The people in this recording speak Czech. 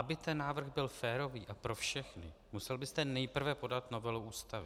Aby ten návrh byl férový a pro všechny, musel byste nejprve podat novelu Ústavy.